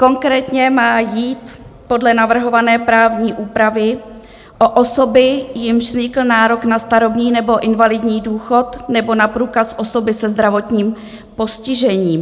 Konkrétně má jít podle navrhované právní úpravy o osoby, jimž vznikl nárok na starobní nebo invalidní důchod, nebo na průkaz osoby se zdravotním postižením.